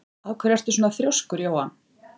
Af hverju ertu svona þrjóskur, Jóann?